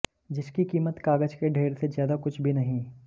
जिसकी कीमत कागज के ढेर से ज्यादा कुछ भी नहीं